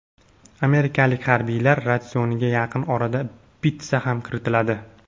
Amerikalik harbiylar ratsioniga yaqin orada pitssa ham kiritiladi.